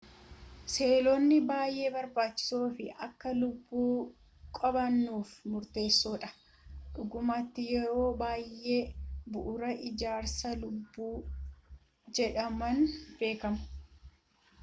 seelonni baayyee barbaachisoo fi akka lubbuu qo'annuuf murteessoo dha dhugumatti yeroo baayyee bu'uura ijaarsa lubbuu jedhamuun beekamu